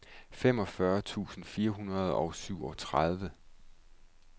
femogfyrre tusind fire hundrede og syvogtredive